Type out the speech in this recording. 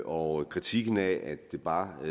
og kritikken af at det bare